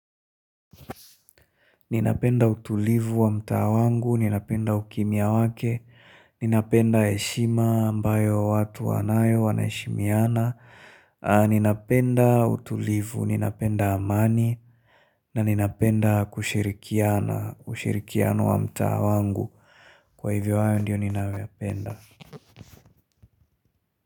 Ninapenda utulivu wa mtaa wangu, ninapenda ukimya wake, ninapenda heshima ambayo watu wanayo, wanaheshimiana, ninapenda utulivu, ninapenda amani, na ninapenda kushirikiana, ushirikiano wa mtaa wangu. Kwa hivyo ayo ndiyo ninayo yapenda.